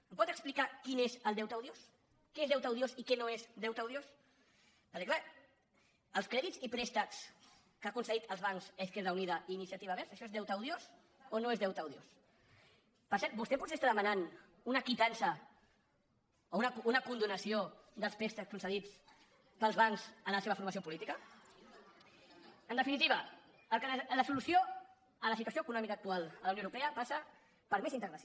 em pot explicar quin és el deute odiós què és deute odiós i què no és deute odiós perquè clar els crèdits i préstecs que han concedit els bancs a izquierda unida i iniciativa verds això és deute odiós o no és deute odiós per cert vostè potser està demanant una quitança o una condonació dels préstecs concedits pels bancs a la seva formació política en definitiva la solució a la situació econòmica actual a la unió europea passa per més integració